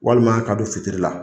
Waliman ka don fitiri la.